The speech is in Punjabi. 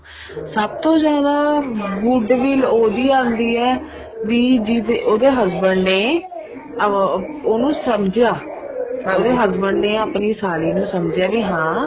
ਸਭ ਤੋਂ ਜਿਆਦਾ goodwill ਓਹੀ ਆਉਂਦੀ ਹੈ ਵੀ ਜਿਸ ਉਹਦੇ husband ਨੇ ਅਮ ਉਹਨੂੰ ਸਮਝਿਆ ਉਹਦੇ husband ਨੇ ਆਪਣੀ ਸਾਲੀ ਨੂੰ ਸਮਝਿਆ ਵੀ ਹਾਂ